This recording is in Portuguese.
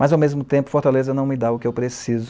Mas, ao mesmo tempo, Fortaleza não me dá o que eu preciso.